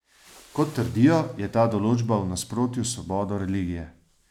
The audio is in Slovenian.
Kot trdijo, je ta določba v nasprotju s svobodo religije.